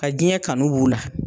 Ka jɛn kanu b'u la.